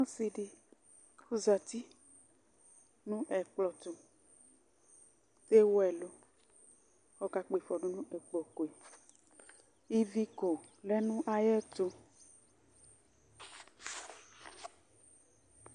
Ɔsɩ dɩ, ɔzati nʋ ɛkplɔ tʋ Lewu ɛlʋ kʋ ɔkakpɔ ɩfɔ dʋ nʋ ɛkplɔko yɛ Iviko lɛ nʋ ayɛtʋ